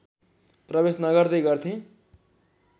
प्रवेश नगर्दै गर्थेँ